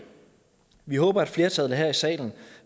vi håber at flertallet her i salen